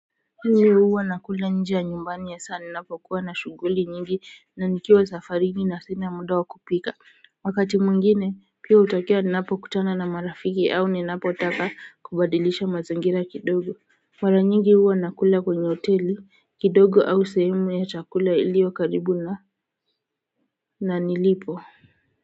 Mimi huwa nakula nje ya nyumbani hasa napokuwa na shughuli nyingi na nikiwa safarini na sina muda wa kupika wakati mwingine pia hutokea ninapokutana na marafiki au ninapotaka kubadilisha mazingira kidogo mara nyingi huwa nakula kwenye hoteli kidogo au sehemu ya chakula iliyokaribu na na nilipo.